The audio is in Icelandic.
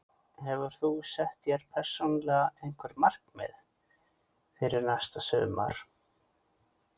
Hefur þú sett þér persónulega einhver markmið fyrir næsta sumar?